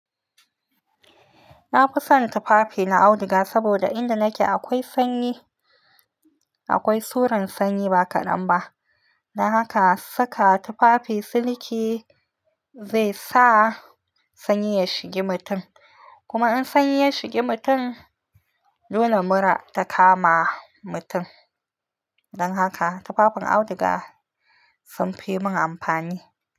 Na fi son tufafi na auduga saboda inda nake akwai sanyi, akwai suran sanyi ba kaɗan ba. Don haka saka tufafi siliki zai sa sanyi ya shigi mutum. Kuma in sanyi ya shigi mutum, dole mura ta kama mutum. Don haka tufafin auduga sun fi mun amfani.